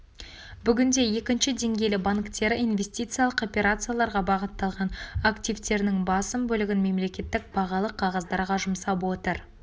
бүгінде екінші деңгейлі банктері инвестициялық операцияларға бағытталған активтерінің басым бөлігін мемлекеттік бағалы қағаздарға жұмсап отыр